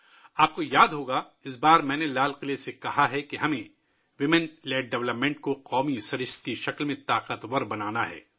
آپ کو یاد ہوگا کہ اس بار میں نے لال قلعہ سے کہا تھا کہ ہمیں خواتین کی قیادت میں ترقی کو ایک قومی کردار کے طور پر مضبوط کرنا ہے